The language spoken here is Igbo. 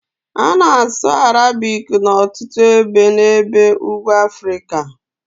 A na-asụ Arabic n'ọtụtụ ebe n'ebe ugwu Afrịka